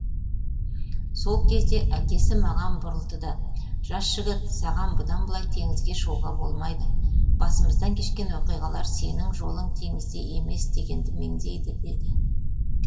сол кезде әкесі маған бұрылды да жас жігіт саған бұдан былай теңізге шығуға болмайды басымыздан кешкен оқиғалар сенің жолың теңізде емес дегенді меңзейді деді